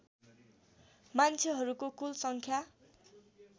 मान्छेहरूको कुल सङ्ख्या